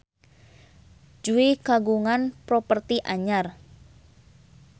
Jui kagungan properti anyar